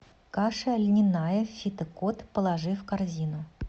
каша льняная фитокод положи в корзину